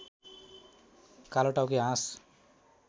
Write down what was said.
कालोटाउके हाँस